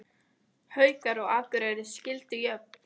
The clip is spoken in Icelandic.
Haukar og Akureyri skildu jöfn